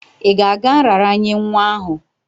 Ị ga-aga nraranye nwa ahụ?